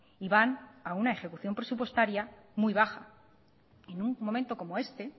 y van a una ejecución presupuestaria muy baja en un momento como este